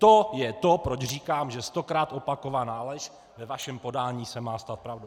To je to, proč říkám, že stokrát opakovaná lež ve vašem podání se má stát pravdou.